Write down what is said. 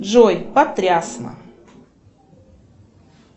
джой потрясно